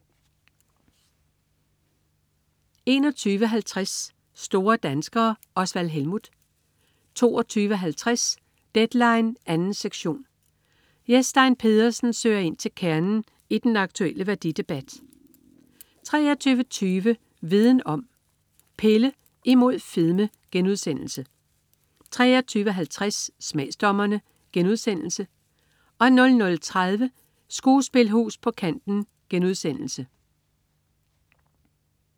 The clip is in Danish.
21.50 Store danskere. Osvald Helmuth 22.50 Deadline 2. sektion. Jes Stein Pedersen søger ind til kernen i den aktulle værdidebat 23.20 Viden Om: Pille imod fedme* 23.50 Smagsdommerne* 00.30 Skuespilhus på kanten*